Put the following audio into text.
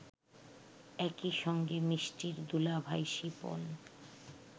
একই সঙ্গে মিষ্টির দুলাভাই শিপন